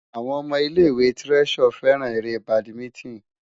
Àwọn ọmọ ilé-ìwé Treasure fẹ́ràn eré badminton.